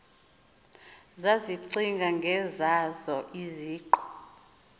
zazicinga ngezazo iziqu